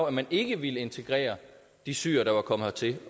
at man ikke ville integrere de syrere der var kommet hertil